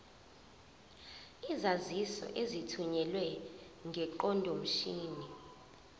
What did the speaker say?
izaziso ezithunyelwe ngeqondomshini